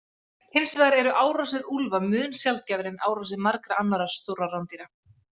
Hins vegar eru árásir úlfa mun sjaldgæfari en árásir margra annarra stórra rándýra.